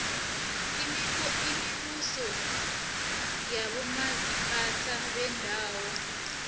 imibuso yabomaziphathe beendawo